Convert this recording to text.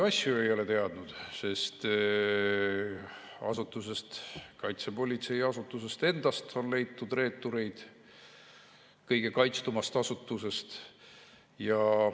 Paljusid asju ei ole teadnud, sest kaitsepolitseiasutusest endast on leitud reeturid, kõige kaitstumast asutusest.